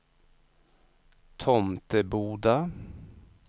Tomteboda